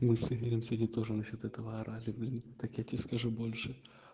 мы с игорем сегодня тоже насчёт этого орали так я тебе скажу больше